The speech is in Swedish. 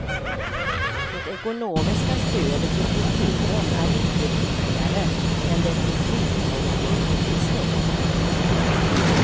Det ekonomiska stödet till kulturen är inte viktigare än det till sjukvård och undervisning.